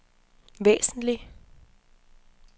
væsentlig